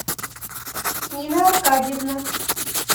нина аркадьевна